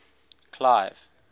clive